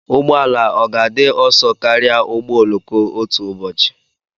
Ụgbọ ala ọ ga-adị ọsọ karịa ụgbọ oloko otu ụbọchị?